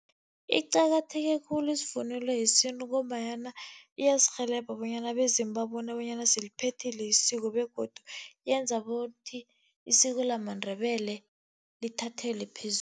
Iqakatheke khulu isivunulo yesintu, ngombanyana iyasirhelebha bonyana abezimu babone bonyana siliphethile isiko, begodu yenza bothi isiko lamaNdebele lithathelwe phezulu.